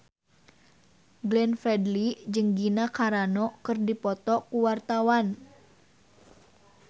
Glenn Fredly jeung Gina Carano keur dipoto ku wartawan